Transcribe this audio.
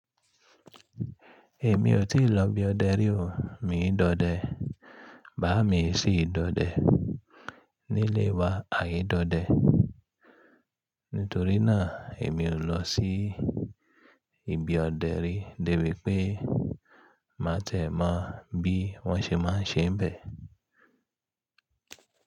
Èmi ò tíì lọ ibi ọdẹ rí o. Mi i dọdẹ, bàá mi e sì dọdẹ nílé wa, àì dọdẹ. Nítorí náà èmi ò lọ sí ibi ọdẹ rí, débi pé má ti ẹ̀ mọ́ bí wọ́n ṣe máa ń ṣe n bẹ̀.